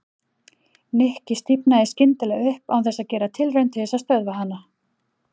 Nikki stífnaði skyndilega upp án þess að gera tilraun til þess að stöðva hana.